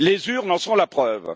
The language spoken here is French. Les urnes en sont la preuve.